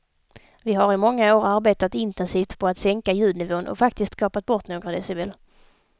Vi har i många år arbetat intensivt på att sänka ljudnivån och faktiskt kapat bort några decibel.